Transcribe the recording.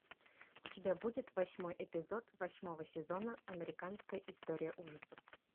у тебя будет восьмой эпизод восьмого сезона американская история ужасов